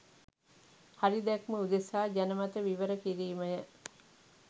හරි දැක්ම උදෙසා ජනමන විවරකිරීමය.